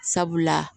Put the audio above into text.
Sabula